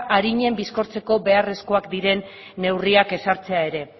arinen bizkortzeko beharrezkoak diren neurriak ezartzea ere